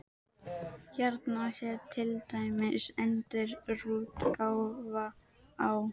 Hérna sé til dæmis endurútgáfa á